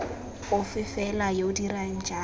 ofe fela yo dirang jalo